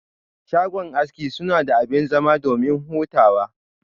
Shago aski sunada abin zama domin hutawa.